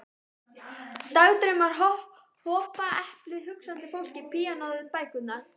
Dagdraumarnir hopa, eplið, hugsandi fólkið, píanóið, bækurnar.